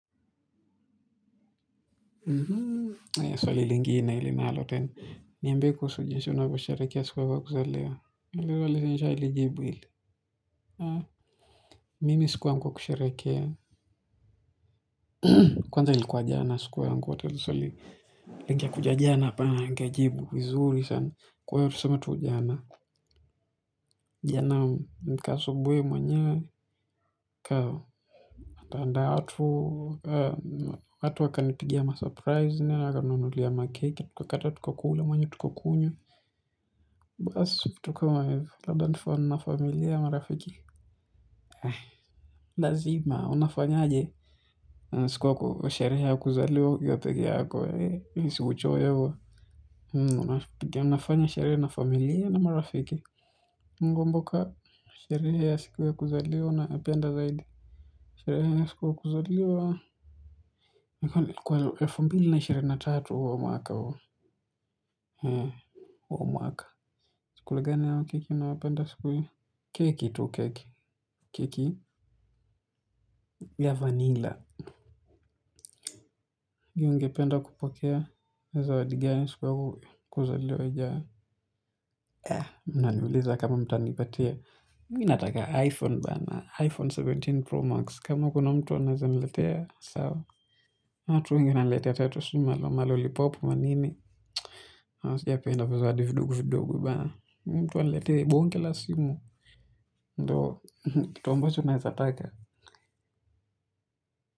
Swali lingine linalo, niambie kuhusu jinsi unavyosherekea siku yako ya kuzaliwa. Hili nishalijibu hili. Mimi siku yangu ya kusherekea kwanza ilikuwa jana siku yangu ya kuzaliwa. Lingekuja jana hapa ningejibu vizuri sana. Kwa hiyo tusema tu jana, jana nika asubuhi mwenyewe, nika andaa watu watu wakanipigia ma surprise, wakaninunulia makeki tukakata, tukakula mwanyo tukakunywa. Basi, vitu kama hizo, labda ni fun na familia, marafiki. Lazima, unafanyaje. Siku yako, sherehe ya kuzaliwa ukiwa peke yako wee si uchoyo. Tunafanya sherehe na familia na marafiki. Nikikumbuka, sherehe ya siku ya kuzaliwa naipenda zaidi. Sherehe ya siku ya kuzaliwa kwa elfu mbili na ishirini na tatu wa huu mwaka huu. Mh, wa huu mwaka. Chakula gani au keki unayopenda siku hii. Keki tu keki. Keki ya vanilla. Ungependa kupokea zawadi gani siku yako ya kuzaliwa ijayo. Unaniuliza ni kama mtanipatia. Mi nataka iPhone bana, iPhone kumi na saba Pro Max. Kama kuna mtu anaeza niletea sawa. Watu wengine wananiletea hata sijui hata malolipopu manini. Unapenda vizawadi vidogo vidogo bana. Mtu aniletee bonge la simu, ndo kitu ambacho naezataka.